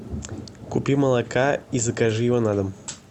купи молока и закажи его на дом